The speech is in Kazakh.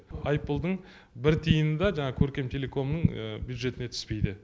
айыппұлдың бір тиыны да жаңағы көркемтелекомның бюджетіне түспейді